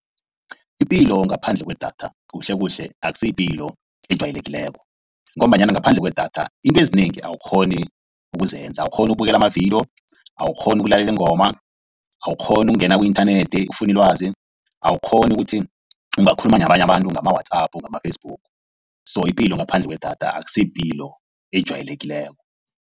Ipilo ngaphandle kwedatha kuhle kuhle akusiyipilo ejwayelekileko ngombanyana ngaphandle kwedatha izinto ezinengi awukghoni ukuzenza. Awukghoni ukubukela amavidiyo, awukghoni ukulalela iingoma, awukghoni ukungena ku-inthanethi ufune ilwazi, awukghoni ukuthi ungakhuluma nabanye abantu ngama-WhatsApp ngama-Facebook. So ipilo ngaphandle kwedatha akusiyipilo ejwayelekileko.